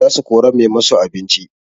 Za su kora mai masu abinci